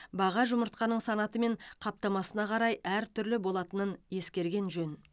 баға жұмыртқаның санаты мен қаптамасына қарай әртүрлі болатынын ескерген жөн